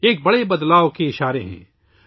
یہ ایک بڑی تبدیلی کے آثار ہیں